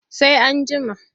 Sai an jima.